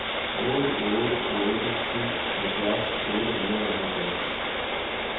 otte otte otte syv halvfjerds otte hundrede og halvfjerds